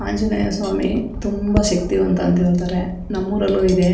ಆಂಜನೆಯ ಸ್ವಾಮಿ ತುಂಬಾ ಶಕ್ತಿವಂತ ಅಂತ ಹೇಳ್ತಾರೆ ನಮ್ಮೂರಲ್ಲು ಇದೆ.